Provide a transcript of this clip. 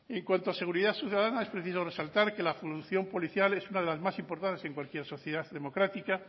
en cuanto a seguridad ciudadana es preciso resaltar que la función policial es una de las más importantes en cualquier sociedad democrática